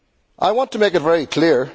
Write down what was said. I want to make it very clear.